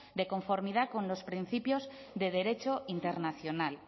de conformidad con los principios de derecho internacional